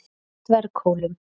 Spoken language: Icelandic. Dverghólum